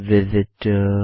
Visit ors